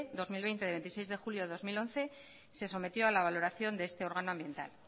dos mil veinte del veintiséis de julio de dos mil once se sometió a la valoración de este órgano ambiental